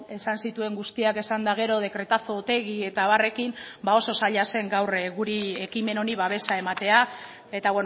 esan zituen guztiak esan eta gero dekretazo otegi eta abarrekin ba oso zaila zen gaur guri ekimen honi babesa ematea eta